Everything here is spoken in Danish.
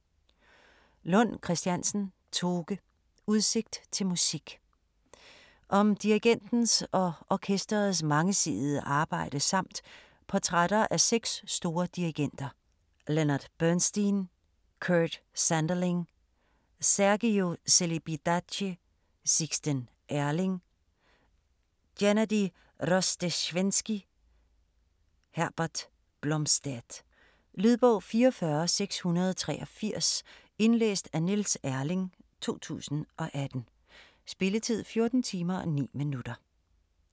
Lund Christiansen, Toke: Udsigt til musik Om dirigentens og orkesterets mangesidede arbejde samt portrætter af 6 store dirigenter: Leonard Bernstein, Kurt Sanderling, Sergiu Celibidache, Sixten Ehrling, Gennady Rozhdestvensky, Herbert Blomstedt. Lydbog 44683 Indlæst af Niels Erling, 2018. Spilletid: 14 timer, 9 minutter.